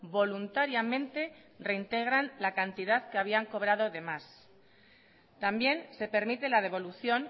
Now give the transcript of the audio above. voluntariamente reintegran la cantidad que habían cobrado de más también se permite la devolución